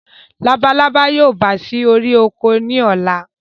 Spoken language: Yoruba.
Labalábá yóò bà sí orí oko ni ọ̀la